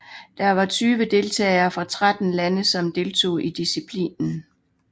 Der var tyve deltagere fra tretten lande som deltog i disciplinen